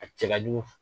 A cɛ ka jugu